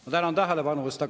Ma tänan tähelepanu eest!